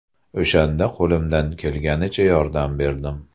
O‘shanda qo‘limdan kelganicha yordam berdim.